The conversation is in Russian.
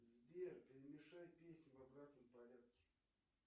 сбер перемешай песни в обратном порядке